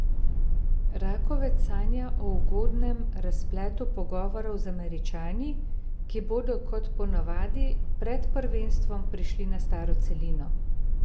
Rakovec sanja o ugodnem razpletu pogovorov z Američani, ki bodo kot ponavadi pred prvenstvom prišli na staro celino.